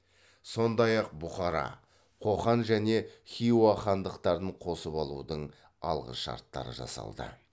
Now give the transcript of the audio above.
сондай ақ бұхара қоқан және хиуа хандықтарын қосып алудың алғышарттары жасалды